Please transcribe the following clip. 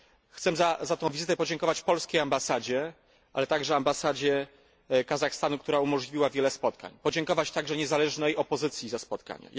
Chcę za tę wizytę podziękować polskiej Ambasadzie, ale także Ambasadzie Kazachstanu, która umożliwiła wiele spotkań, podziękować także niezależnej opozycji za spotkanie.